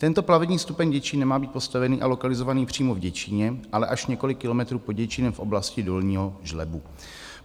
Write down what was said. Tento plavební stupeň Děčín nemá být postavený a lokalizovaný přímo v Děčíně, ale až několik kilometrů pod Děčínem v oblasti Dolního Žlebu.